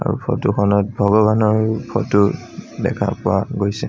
Photo খনত ভগবানৰ photo দেখা পোৱা গৈছে।